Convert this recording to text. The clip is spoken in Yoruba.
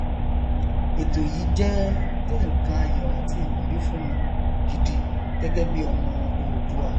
ètò yìí jẹ jẹ nnkan ayọ àti ìwúrí fún mi gidi gẹgẹ bí ọmọ oòduà